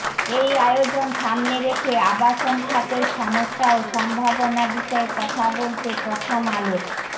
এই আয়োজন সামনে রেখে আবাসন খাতের সমস্যা ও সম্ভাবনা বিষয়ে কথা বলতে প্রথম আলোর